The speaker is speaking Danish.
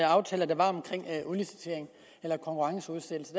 aftaler der var om udlicitering eller konkurrenceudsættelse